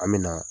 An me na